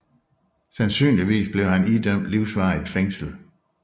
Sandsynligvis blev han idømt livsvarigt fængsel